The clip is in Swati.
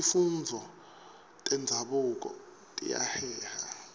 tifundvo tenzabuko tiyaheha